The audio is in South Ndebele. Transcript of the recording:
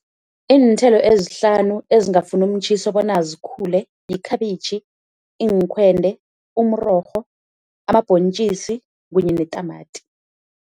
Iinthelo ezihlanu ezingafuni umtjhiso bona zikhule yikhabitjhi, iinkhwende, umrorho, amabhontjisi kunye netamati.